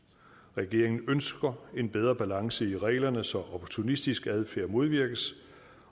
regeringen ønsker en bedre balance i reglerne så opportunistisk adfærd modvirkes